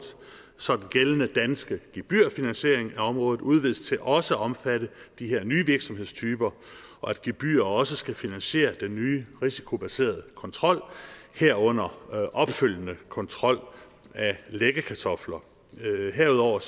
så den gældende danske gebyrfinansiering af området udvides til også at omfatte de her nye virksomhedstyper og at gebyrer også skal finansiere den nye risikobaserede kontrol herunder opfølgende kontrol af læggekartofler herudover